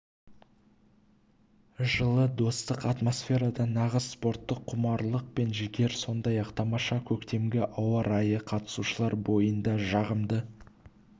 жылы достық атмосферада нағыз спорттық құмарлық пен жігер сондай-ақ тамаша көктемгі ауа райы қатысушылар бойында жағымды